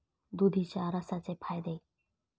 दुधीच्या रसाचे फायदे